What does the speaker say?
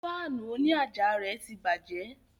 Fáànù òní àjà rẹ̀ tí bàjẹ́